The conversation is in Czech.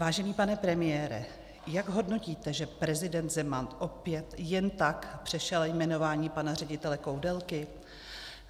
Vážený pane premiére, jak hodnotíte, že prezident Zeman opět jen tak přešel jmenování pana ředitele Koudelky?